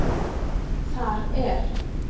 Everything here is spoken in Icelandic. Þar er